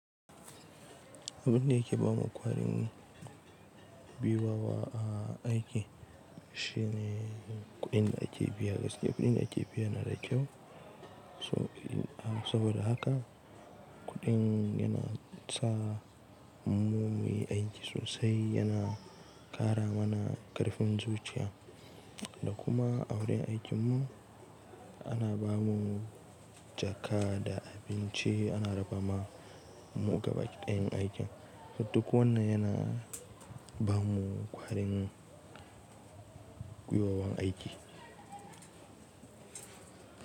Abin da yake bamu ƙwarin gwiwa a aikin shi ne kuɗin da ake biya gaskiya kuɗin da ake biya yana da kyau. So in saboda haka kuɗin yana sa mu muyi aiki sosai, yana ƙara mana ƙarfin zuciya da kuma a wurin aikin mu ana bamu jaka da abinci ana raba ma mu gabaki ɗaya yan aikin duk wannan yana ba mu ƙwarin gwiwa wun aiki.